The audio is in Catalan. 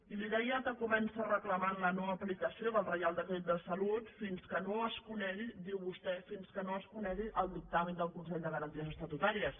i li deia que comença reclamant la no aplicació del reial decret de salut fins que no es conegui diu vostè el dictamen del consell de garanties estatutàries